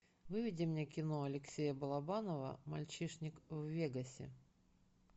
выведи мне кино алексея балабанова мальчишник в вегасе